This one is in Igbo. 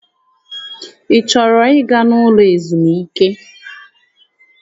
Ị chọrọ ịga n'ụlọ ezumike?